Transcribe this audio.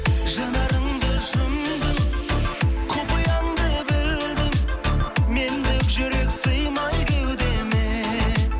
жанарыңды жұмдың құпияңды білдім мендік жүрек сыймай кеудеме